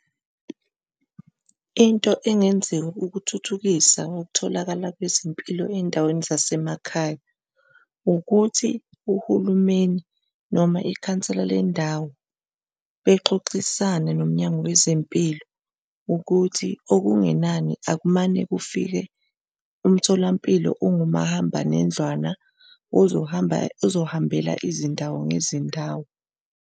Into engenziwa ukuthuthukisa okutholakala kwezempilo ezindaweni zasemakhaya ukuthi uhulumeni noma ikhansela lendawo bexoxisane nomnyango wezempilo ukuthi okungenani akumane kufike umtholampilo ongumahambanendlwana ozohamba ozohambelana izindawo ngezindawo.